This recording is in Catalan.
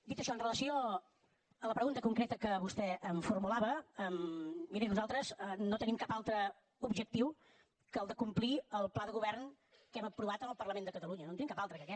dit això amb relació a la pregunta concreta que vostè em formulava miri nosaltres no tenim cap altre objectiu que el de complir el pla de govern que hem aprovat en el parlament de catalunya no en tenim cap altre que aquest